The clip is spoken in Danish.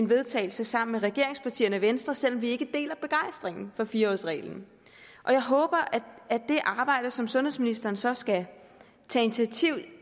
vedtagelse sammen med regeringspartierne og venstre selv om vi ikke deler begejstringen for fire årsreglen og jeg håber at det arbejde som sundhedsministeren så skal tage initiativ